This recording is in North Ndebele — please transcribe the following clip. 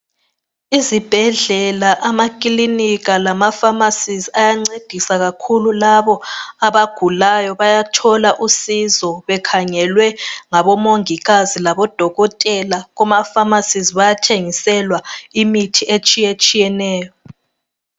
Izibhedlela, amakilinika lamapharmacies ayancedisa kakhulu labo abagulayo bayathola usizo bekhangelwe ngabomongikazi labodokotela kumapharmacies bayathengiselwa imithi etshiyetshiyeneyo.